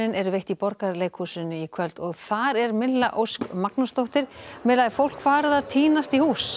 eru veitt í Borgarleikhúsinu í kvöld þar er Ósk Magnúsdóttir Milla er fólk farið að tínast í hús